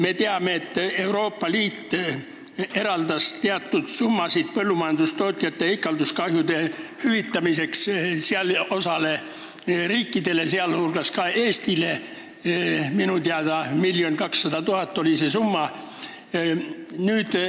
Me teame, et Euroopa Liit eraldas teatud summasid põllumajandustootjate ikalduskahjude hüvitamiseks osale riikidele, sh Eestile, minu teada oli see summa 1 200 000 eurot.